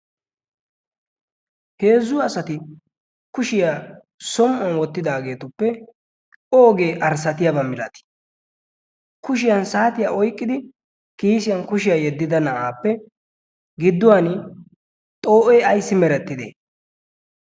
heezzu asati kushiyaa som"uwan wottidaageetuppe oogee arssatiyaabaa milatii kushiyan saatiya oiqqidi kiisiyan kushiyaa yeddida na'aappe gidduwan xoo'ee ayssi merettide?